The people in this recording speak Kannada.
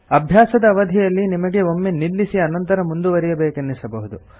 ಅಭ್ಯಾಸದ ಅವಧಿಯಲ್ಲಿ ನಿಮಗೆ ಒಮ್ಮೆ ನಿಲ್ಲಿಸಿ ಅನಂತರ ಮುಂದುವರೆಯಬೇಕೆನ್ನಿಸಬಹುದು